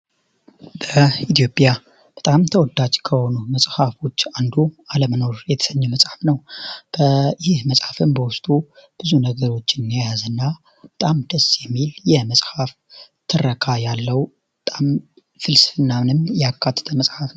በኢትዮጵያ በጣም ተወዳጅ ከሆኑ መጽሐፎች አንዱ ዓለመኖር የተሰኘ መጽሐፍ ነው። ይህ መጽሐፍም በወስጡ ብዙ ነገሮችን የያዝ እና በጣም ደስ የሚል የመጽሐፍ ትረካ ያለው በጣም ፍልስናንም ያካተተ መጽሐፍ።